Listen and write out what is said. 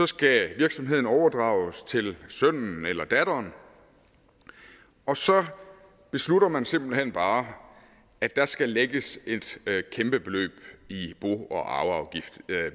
skal virksomheden overdrages til sønnen eller datteren og så beslutter man simpelt hen bare at der skal lægges et kæmpe beløb i bo og arveafgift